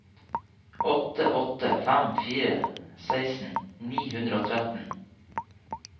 åtte åtte fem fire seksten ni hundre og tretten